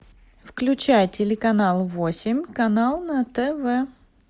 включай телеканал восемь канал на тв